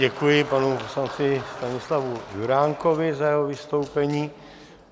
Děkuji panu poslanci Stanislavu Juránkovi za jeho vystoupení.